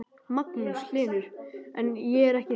Magnús Hlynur: En er ekki skírður?